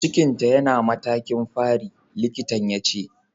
Cikin ta yana matakin fari, likitan ya ce.